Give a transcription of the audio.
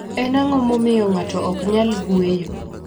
Eni anig'o mamiyo nig'ato ok niyal nig'weyo?